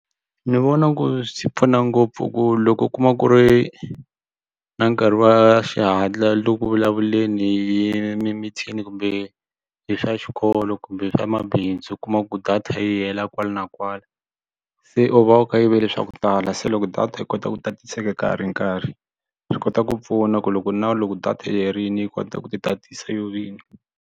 Ni vona ku swi pfuna ngopfu ku loko u kuma ku ri na nkarhi wa xihatla u le ku vulavuleni hi mimitini kumbe hi swa xikolo kumbe swa mabindzu kuma ku data yi hela kwala na kwala se u va u kayivele swa ku tala se loko data yi kota ku tatiseka ka ha ri nkarhi swi kota ku pfuna ku loko na loko data yi herile yi kota ku titatisa yo vinyi.